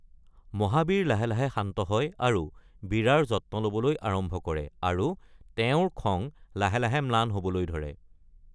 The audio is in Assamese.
মহাবীৰে লাহে লাহে শান্ত হয় আৰু বীৰাৰ যত্ন ল’বলৈ আৰম্ভ কৰে, আৰু তেওঁৰ খং লাহে লাহে ম্লান হবলৈ ধৰে।